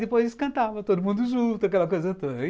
Depois eles cantavam todo mundo junto, aquela coisa toda.